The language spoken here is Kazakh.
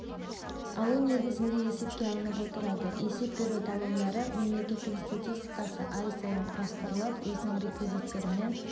алу негізінде есепке алынып отырады есеп беру талондары мемлекеттің статистикасы ай сайын құрастырылып өзінің реквизиттерімен